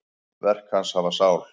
Verk hans hafa sál.